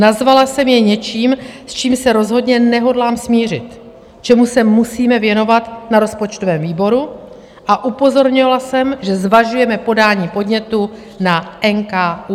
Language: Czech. Nazvala jsem je něčím, s čím se rozhodně nehodlám smířit, čemu se musíme věnovat na rozpočtovém výboru, a upozornila jsem, že zvažujeme podání podnětu na NKÚ.